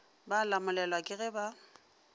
ba lamolelwa ke ge ba